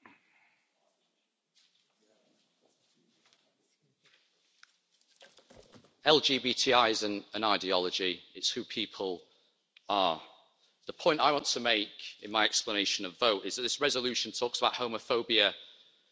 Mr President, LGBTI isn't an ideology, it's who people are. The point I want to make in my explanation of vote is that this resolution talks about homophobia in sport, and sadly, on occasion, and in places,